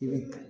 I bɛ